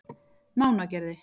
Mánagerði